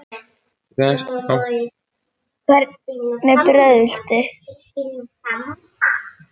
Hvernig brauð viltu?